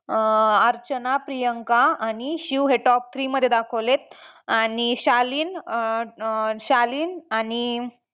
अं अर्चना, प्रियांका आणि शिव हे top three मध्ये दाखवलेत आणि शालीन अं अं शालीन आणि